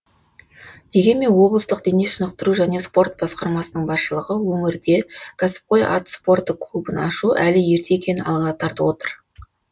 дегенмен облыстық денешынықтыру және спорт басқармасының басшылығы өңірде кәсіпқой ат спорты клубын ашу әлі ерте екенін алға тартып отыр